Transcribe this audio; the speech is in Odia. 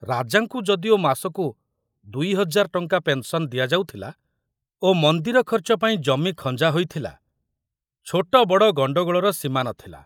ରାଜାଙ୍କୁ ଯଦିଓ ମାସକୁ ଦୁଇ ହଜାର ଟଙ୍କା ପେନସନ ଦିଆଯାଉଥିଲା ଓ ମନ୍ଦିର ଖର୍ଚ୍ଚ ପାଇଁ ଜମି ଖଞ୍ଜା ହୋଇଥିଲା, ଛୋଟ ବଡ଼ ଗଣ୍ଡଗୋଳର ସୀମା ନଥିଲା।